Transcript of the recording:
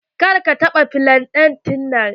Kar ka taɓa flante ɗin.